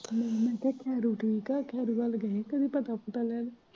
ਤੇ ਮੈਂ ਉਨੂੰ ਕਿਹਾ ਹੈਰੀ ਠੀਕ ਐ, ਹੈਰੀ ਵੱਲ ਜਾਣਾ ਤੁਵੀਂ ਪਤਾ ਪੁਤਾ ਲੈਣ।